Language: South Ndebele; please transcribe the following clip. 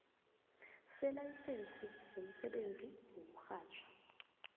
selayisense yomsebenzi wokurhatjha